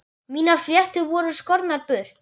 Mínar fléttur voru skornar burt.